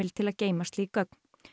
til að geyma slík gögn